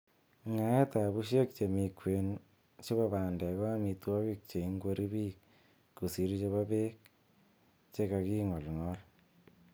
Ngaet ab bushek chemi kwen chebo bandek ko amitwogik che ingwori bik kosir chebo beek che ka king'olng'ol.